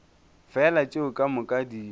fela tšeo ka moka di